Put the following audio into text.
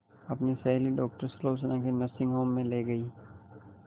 अपनी सहेली डॉक्टर सुलोचना के नर्सिंग होम में ली गई